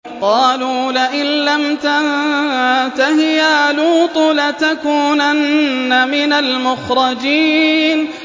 قَالُوا لَئِن لَّمْ تَنتَهِ يَا لُوطُ لَتَكُونَنَّ مِنَ الْمُخْرَجِينَ